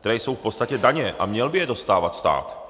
které jsou v podstatě daně, a měl by je dostávat stát.